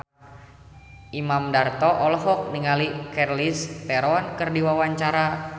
Imam Darto olohok ningali Charlize Theron keur diwawancara